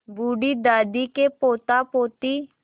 बूढ़ी दादी के पोतापोती